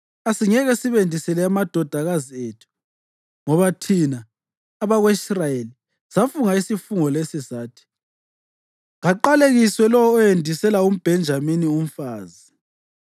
Asingeke sibendisele amadodakazi ethu ngoba thina abako-Israyeli safunga isifungo lesi sathi: ‘Kaqalekiswe lowo owendisela umBhenjamini umfazi.’